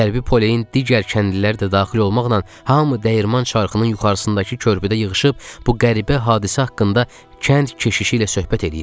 Qərbi Poleyin digər kəndlilər də daxil olmaqla hamı dəyirman çarxının yuxarısındakı körpüdə yığışıb bu qəribə hadisə haqqında kənd keşişi ilə söhbət eləyirdi.